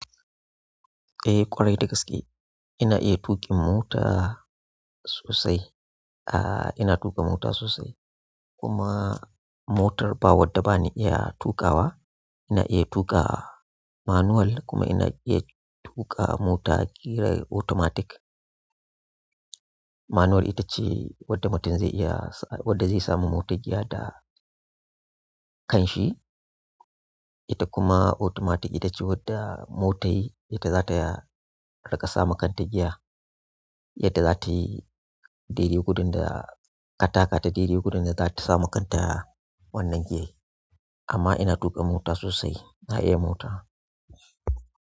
Eh ƙwarai da gaske, ina iya tuƙin mota sosai. Ah ina tuƙa mota sosai. Kuma motar ba wadda bani iya tuƙawa. Ina iya tuƙu manual kuma ina iya tuƙa mota ƙirar automatic. Manual ita ce wadda mutum zai iya sa-- wadda zai samavmotar giya da kan shi. Ita kuma automatic ita ce wadda motai ita za ta riƙa sa ma kanta giya. Yadda za ta yi daidaj gudun da ka taka ta daidai gudun da za ta sa ma kanta wannan giyai. Amma ina tuƙa mota sosai, na iya mota.